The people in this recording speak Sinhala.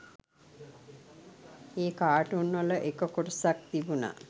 ඒ කාටුන්වල එක කොටසක් තිබුන